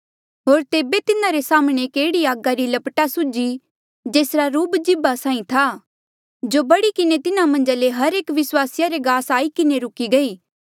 होर तेबे तिन्हारे साम्हणें एक एह्ड़ी आगी री लपटा सुझी जेसरा रूप जीभा साहीं था जो बढ़ी किन्हें तिन्हा मन्झा ले हर एक विस्वासिया रे गास आई किन्हें रुकी गई